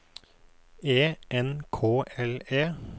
E N K L E